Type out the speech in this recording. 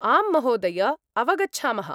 आम् महोदय। अवगच्छामः।